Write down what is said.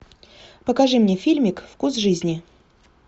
покажи мне фильмик вкус жизни